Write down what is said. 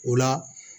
O la